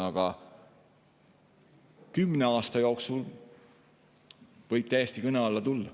Aga kümne aasta jooksul võib see täiesti kõne alla tulla.